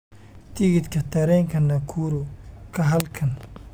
tigidhka tareenka nakuru ka halkan